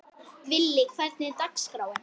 Villi, hvernig er dagskráin?